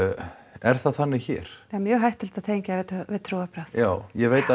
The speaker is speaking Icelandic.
er það þannig hér það er mjög hættulegt að tengja þetta við trúarbrögð já ég veit að